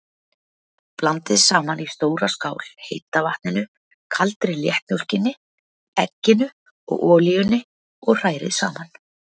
Blandið saman í stóra skál heita vatninu, kaldri léttmjólkinni, egginu og olíunni og hrærið saman.